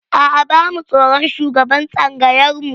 A'a, ba mu tsoron shugaban tsangayar mu.